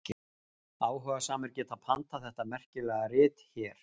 Áhugasamir geta pantað þetta merkilega rit hér.